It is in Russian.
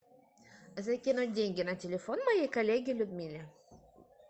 закинуть деньги на телефон моей коллеге людмиле